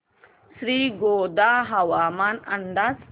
श्रीगोंदा हवामान अंदाज